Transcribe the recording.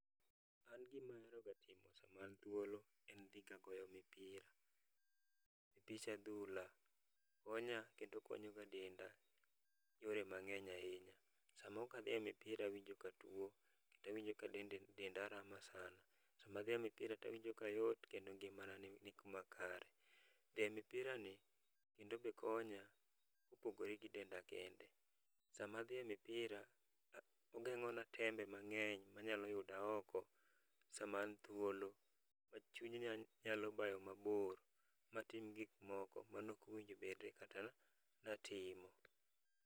An gima aero ga timo sama an thuolo en dhiga goyo mipira, mipich adhula konya kendo konyo ga denda yore mang'eny ahinya. Sama okadhi e mipira awinjo katuo, tawinjo ka denda rama sana. Sama adhiye mipira tawinjo kayot kendo ngimana ni kuma kare. Dhi e mipira ni kendo be konya kopogore gi denda kende. Sama adhiye mipira, ogeng'ona tembe mang'eny manyalo yuda oko sama an thuolo. Ma chunya nyalo bayo mabor matim gik moko manokowinjo bede kata natimo.